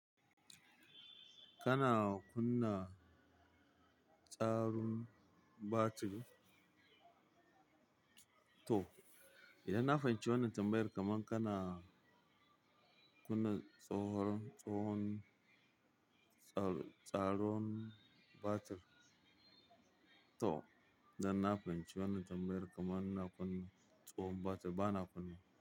Kana kunna tsarin battery, toh, idan na fahimci wannan tambayar kamar kana kunna tsohon tsaron battery toh, idan na fahimci wannan tambayar kaman ina kunna tsohon battery bana kunna wa.